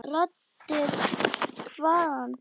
Raddir hvaðan?